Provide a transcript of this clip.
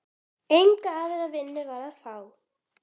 Enga aðra vinnu var að fá.